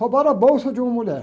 Roubaram a bolsa de uma mulher.